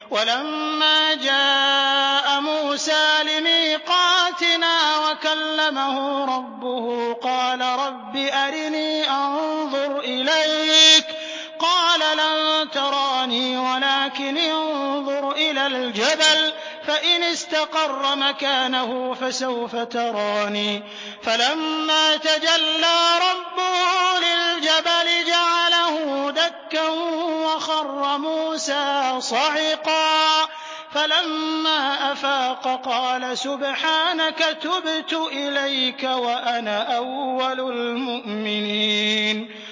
وَلَمَّا جَاءَ مُوسَىٰ لِمِيقَاتِنَا وَكَلَّمَهُ رَبُّهُ قَالَ رَبِّ أَرِنِي أَنظُرْ إِلَيْكَ ۚ قَالَ لَن تَرَانِي وَلَٰكِنِ انظُرْ إِلَى الْجَبَلِ فَإِنِ اسْتَقَرَّ مَكَانَهُ فَسَوْفَ تَرَانِي ۚ فَلَمَّا تَجَلَّىٰ رَبُّهُ لِلْجَبَلِ جَعَلَهُ دَكًّا وَخَرَّ مُوسَىٰ صَعِقًا ۚ فَلَمَّا أَفَاقَ قَالَ سُبْحَانَكَ تُبْتُ إِلَيْكَ وَأَنَا أَوَّلُ الْمُؤْمِنِينَ